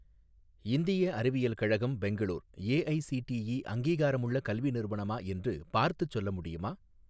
இந்திய அறிவியல் கழகம் பெங்களூர் ஏஐஸிடிஇ அங்கீகாரமுள்ள கல்வி நிறுவனமா என்று பார்த்துச் சொல்ல முடியுமா?